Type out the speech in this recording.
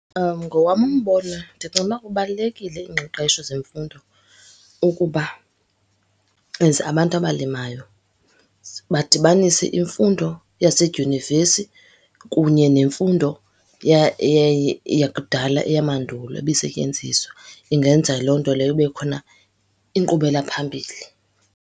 Ngowam umbono ndicinga ukuba kubalulekile iingqeqesho zemfundo ukuba as abantu abalimayo badibanise imfundo yasedyunivesi kunye nemfundo yakudala, eyamandulo ebisetyenziswa. Ingenza loo nto leyo kube khona inkqubela phambili.